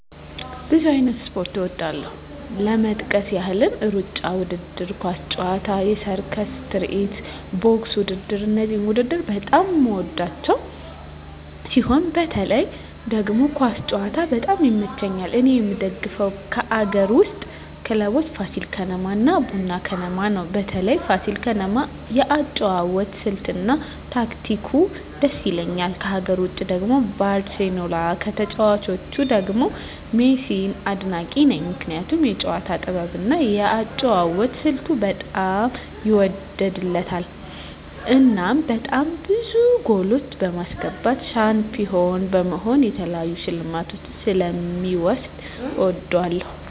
ብዙ አይነት ስፖርት እወዳለሁ ለመጥቀስ ያህል እሩጫ ውድድር፣ ኳስ ጨዋታ፣ የሰርከስ ትርኢት፣ ቦክስ ውድድር እነዚህን ውድድር በጣም የምወዳቸው ሲሆን በተለይ ደግሞ ኳስ ጨዋታ በጣም ይመቸኛል እኔ የምደግፈው ከአገር ውስጥ ክለቦች ፋሲል ከነማ እና ቡና ክለብ ነው በተለይ ፋሲል ከነማ የአጨዋወት ስልት እና ታክቲኩ ድስ ይላል ከሀገር ውጭ ደግሞ ባርሴሎና ከተጫዋቾቹ ደግሞ ሜሲን አድናቂ ነኝ ምክንያቱም የጨዋታው ጥበብ እና የአጨዋወት ስልቱ በጣም ይወደድለታል እናም በጣም ብዙ ጎሎች በማስገባት ሻንፒሆን በመሆን የተለያዩ ሽልማቶችን ስለ ሚወስድ እወደዋለሁ።